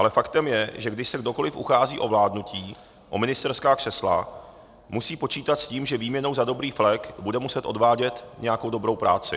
Ale faktem je, že když se kohokoliv uchází o vládnutí, o ministerská křesla, musí počítat s tím, že výměnou za dobrý flek bude muset odvádět nějakou dobrou práci.